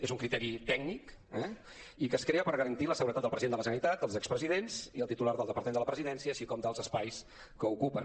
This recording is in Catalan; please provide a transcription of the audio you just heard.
és un criteri tècnic eh i que es crea per garantir la seguretat del president de la generalitat els expresidents i el titular del departament de la presidència així com dels espais que ocupen